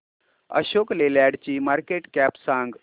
अशोक लेलँड ची market cap सांगा